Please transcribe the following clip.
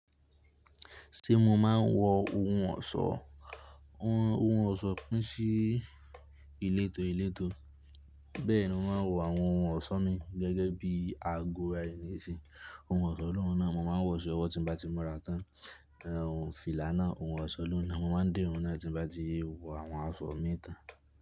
Ṣé mo máa ń wọ ohun ọ̀ṣọ́? Ohun ọ̀ṣọ́ pín sí ìletò ìletò. Bẹ́ẹ̀ni mo máa ń wọ àwọn ohun ọ̀ṣọ́ mi gẹ́gẹ́ bí àgo, ohun ọ̀ṣọ́ lóhùn náà, mo máa ń wọ̀ sí ọwọ́ tí mo bá ti múra tán, fìlà náà, ohun ọ̀ṣọ́ lóhùn náà, mo máa ń dé òun náà tí mo bá ti wọ àwọn aṣọ mi tán.